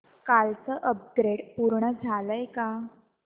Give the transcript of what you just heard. कालचं अपग्रेड पूर्ण झालंय का